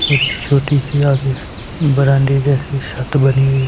और एक छोटी सी आगे ब्रांडे जैसी छत बनी हुई--